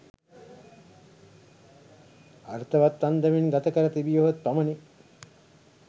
අර්ථවත් අන්දමින් ගත කර තිබියහොත් පමණි